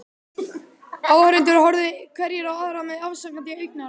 Áhorfendur horfðu hverjir á aðra með afsakandi augnaráði.